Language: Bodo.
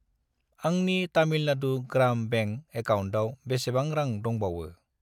आंनि तामिलनाडु ग्राम बेंक एकाउन्टाव बेसेबां रां दंबावो?